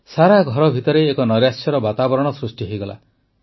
ସାରା ଘର ଭିତରେ ଏକ ନୈରାଶ୍ୟର ବାତାବରଣ ସୃଷ୍ଟି ହୋଇଗଲା